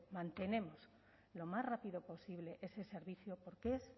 mantenemos lo más rápido posible ese servicio porque es